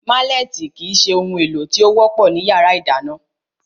Málẹ̀tì kìí se ohun èlò tí ó wọ́pọ̀ ní yàrá ìdáná